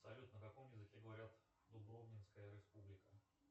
салют на каком языке говорят в дубровницкая республика